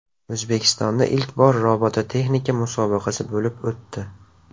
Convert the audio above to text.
O‘zbekistonda ilk bor robototexnika musobaqasi bo‘lib o‘tdi.